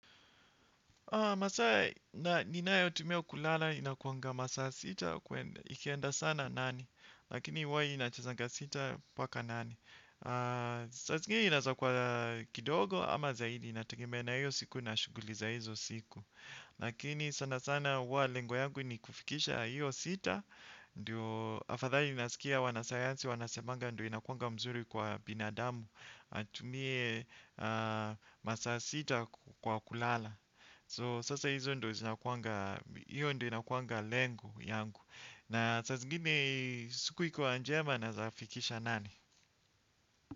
Masaa ninayotumia kulala inakuwanga masaa sita, ikieanda sana nane, lakini huwa inachezanga sita mpaka nane. Saa zingine inaweza kwa kidogo ama zaidi inategemea na hiyo siku na shuguli za hizo siku. Lakini sana sana huwa lengo langu ni kufikisha hiyo sita, ndiyo afadhali nasikia wanasayansi, wanasemanga ndiyo inakuwanga mzuri kwa binadamu atumie masa sita kwa kulala. Kwa hivyo hizo ndo zinakuwanga hiyo ndiyo inakuwanga lengo langu. Na saa zingine siku ikuwa njema nawezafikisha nane.